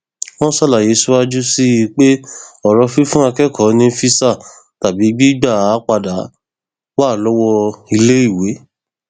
wọn ṣàlàyé síwájú sí i pé ọrọ fífún akẹkọọ ní físà tàbí gbígbà á padà wá lọwọ iléèwé